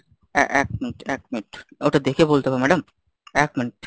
আহ এক minute এক minute ওটা দেখে বলতে হবে madam এক minute,